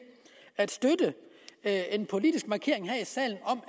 at en politisk markering her i salen